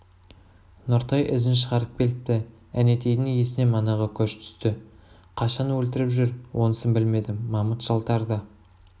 нұртай ізін шығарып келіпті әнетейдың есіне манағы көш түсті қашан өлтіріп жүр онысын білмедім мамыт жалтарды